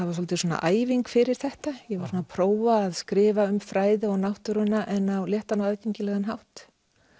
var svolítil æfing fyrir þetta ég var svona prófa að skrifa um fræði og náttúruna en á léttan og aðgengilegan hátt